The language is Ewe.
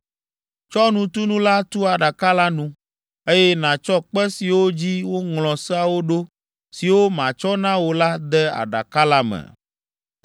Tsɔ nutunu la tu aɖaka la nu, eye nàtsɔ kpe siwo dzi woŋlɔ seawo ɖo siwo matsɔ na wò la de aɖaka la me.